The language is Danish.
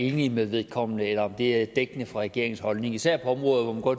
enig med vedkommende eller om det er dækkende for regeringens holdning især på områder hvor